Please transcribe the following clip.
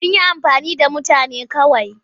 Sun yi amfani da mutane kawai.